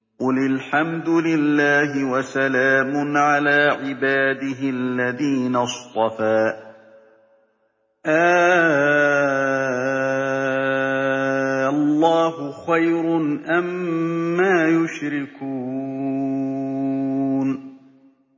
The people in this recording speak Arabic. قُلِ الْحَمْدُ لِلَّهِ وَسَلَامٌ عَلَىٰ عِبَادِهِ الَّذِينَ اصْطَفَىٰ ۗ آللَّهُ خَيْرٌ أَمَّا يُشْرِكُونَ